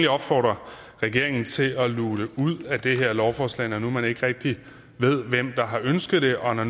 opfordre regeringen til at luge det ud af det her lovforslag når nu man ikke rigtig ved hvem der har ønsket det og når